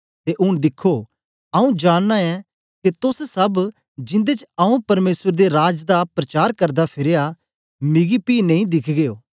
ते ऊन दिखो आंऊँ जानना ऐं के तोस सब जिंदे च आंऊँ परमेसर दे राज दा प्रचार करदा फिरया मिग्गी पी नेई दिखगे ओ